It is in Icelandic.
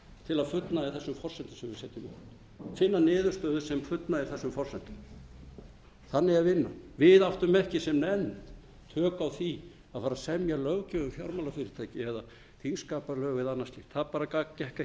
til að fullnægja þessum forsendum sem við setjum upp finna niðurstöðu sem fullnægir þessum forsendum þannig er vinnan við áttum ekki sem nefnd tök á því að fara að semja löggjöf um fjármálafyrirtæki að þingskapalög eða annað slíkt það bara gekk ekki